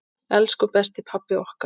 Elsku besti pabbi okkar.